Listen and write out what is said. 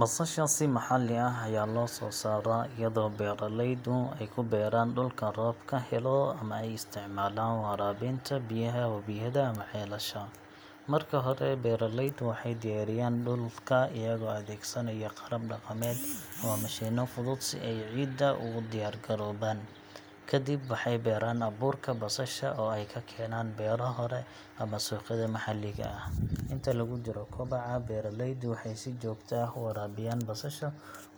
Basasha si maxalli ah ayaa loo soo saaraa iyadoo beeraleydu ay ku beeraan dhulka roobka helo ama ay isticmaalaan waraabinta biyaha webiyada ama ceelasha. Marka hore, beeraleydu waxay diyaariyaan dhulka iyagoo adeegsanaya qalab dhaqameed ama mishiinno fudud si ay ciidda ugu diyaar garoobaan. Kadib waxay beeraan abuurka basasha oo ay ka keenaan beero hore ama suuqyada maxalliga ah. Inta lagu jiro koboca, beeraleydu waxay si joogto ah u waraabiyaan basasha,